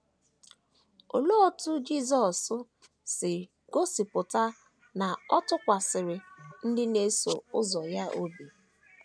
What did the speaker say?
Olee otú Jisọs si gosipụta na ọ tụkwasịrị ndị na - eso ụzọ ya obi?